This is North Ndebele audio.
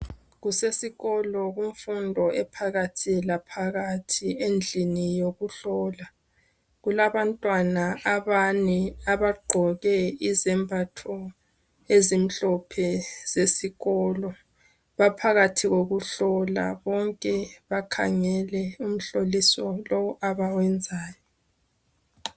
Kusesikolo kumfundo ephakathi laphakathi endlini yokuhlola . Kulabantwana abane abagqoke izembatho ezimhlophe zesikolo .Baphakathi kokuhlola bonke bakhangele umhloliso lo abawenzayo.